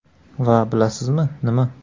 Va bilasizmi, nima?